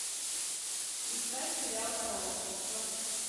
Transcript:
искать сериал сообщество